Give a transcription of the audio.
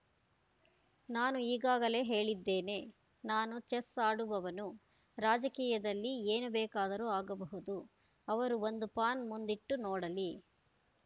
ನಾನು ಈಗಾಗಲೇ ಹೇಳಿದ್ದೇನೆ ನಾನು ಚೆಸ್‌ ಆಡುವವನು ರಾಜಕೀಯದಲ್ಲಿ ಏನು ಬೇಕಾದರೂ ಆಗಬಹುದು ಅವರು ಒಂದು ಪಾನ್‌ ಮುಂದಿಟ್ಟು ನೋಡಲಿ